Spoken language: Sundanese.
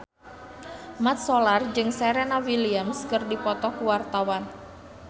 Mat Solar jeung Serena Williams keur dipoto ku wartawan